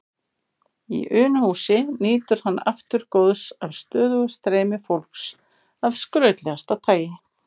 Í Unuhúsi nýtur hann aftur góðs af stöðugu streymi fólks af skrautlegasta tagi.